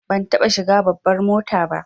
Ban taɓa shiga babbar mota ba